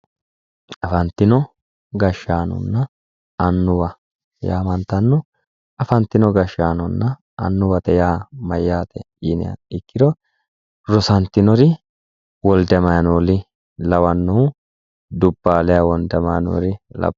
Afantino gashshaanonna annuwa yaa mayyaate yiniha ikkiro rosantinori wolde amaaneeli lawannohu dubbaaleha wolde amaaneeli